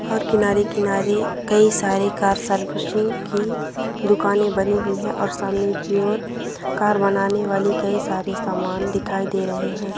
और किनारे-किनारे कई सारे कार सर्विसिंग की दुकाने बनी हुई हैं और सामने की ओर कार बनाने वाली कई सारे समान दिखाई दे रहे हैं।